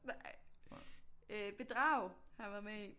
Nej øh Bedrag har han været med i